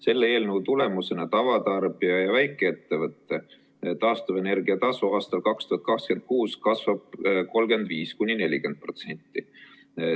Selle eelnõu tulemusena kasvab tavatarbija ja väikeettevõtte taastuvenergia tasu 2026. aastal 35–40%.